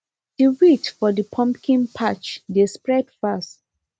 the weeds for the pumpkin patch dey spread fast